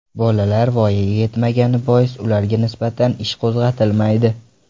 Bolalar voyaga yetmagani bois ularga nisbatan ish qo‘zg‘atilmaydi.